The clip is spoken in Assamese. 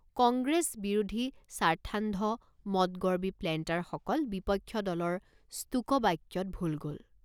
কংগ্ৰেছ বিৰোধী স্বাৰ্থান্ধ মদগৰ্বী প্লেণ্টাৰসকল বিপক্ষ দলৰ স্তোকবাক্যত ভোল গল।